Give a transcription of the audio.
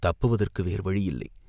தப்புதவதற்கு வேறு வழியில்லை.